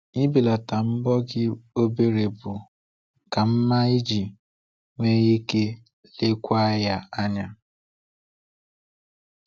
Ibelata mbọ gị obere bụ ka mma iji nwee ike lekwaa ya anya.